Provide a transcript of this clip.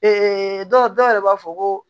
dɔw yɛrɛ b'a fɔ ko